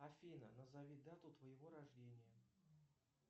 афина назови дату твоего рождения